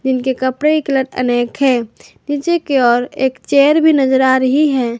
उनके कपड़े के कलर अनेक हैं नीचे की ओर एक चेयर भी नजर आ रही है।